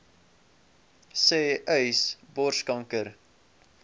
sê uys borskanker